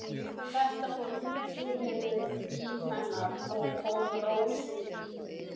Þetta fólk tilheyrði lífi hennar en kom Rósu lítið við.